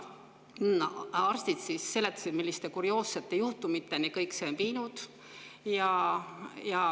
Arstid seletasid, milliste kurioossete juhtumiteni see kõik on viinud.